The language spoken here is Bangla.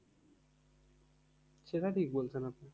সেটা ঠিক বলছেন আপনি।